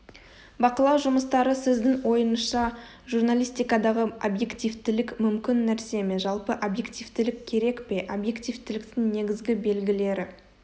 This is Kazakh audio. бақылау жұмыстары сіздің ойыңызша журналистикадағы объективтілік мүмкін нәрсе ме жалпы объективтілік керек пе объективтіліктің негізгі белгілері